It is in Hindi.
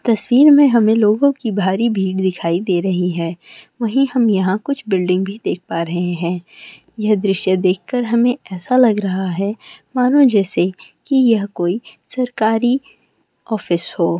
तस्वीर में हमें लोगों की भारी भीड़ दिखाई दे रही है वही हम यहां कुछ बिल्डिंग भी देख पा रहे हैं यह दृश्य देखकर हमें ऐसा लग रहा है मानो जैसे कि यह कोई सरकारी ऑफिस हो।